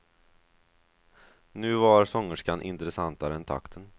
Nu var sångerskan intressantare än takten.